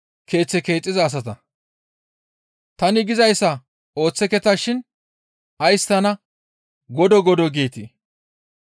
«Tani gizayssa ooththeketa shin ays tana, ‹Godoo! Godoo!› geetii?